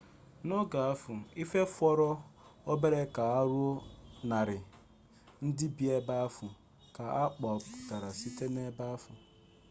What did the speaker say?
n'oge ahụ ihe fọrọ obere ka o ruo 100 ndị bi ebe ahụ ka a kpọkpụrụ site n'ebe ahụ